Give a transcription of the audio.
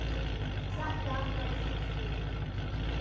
Þetta var í síðustu viku.